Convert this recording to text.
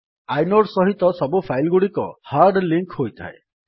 inode ସହିତ ସବୁ file ଗୁଡିକ ହାର୍ଡ୍ ଲିଙ୍କ୍ ହୋଇଥାଏ